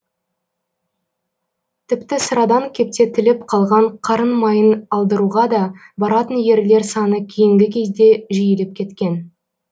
тіпті сырадан кептетіліп қалған қарын майын алдыруға да баратын ерлер саны кейінгі кезде жиіліп кеткен